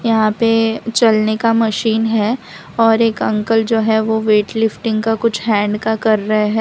यहां पे चलने का मशीन है और एक अंकल जो है वो वेट लिफ्टिंग का कुछ हैंड का कर रहे हैं।